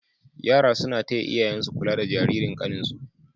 yara suna taya iyayansu kula da Jaririn kanin su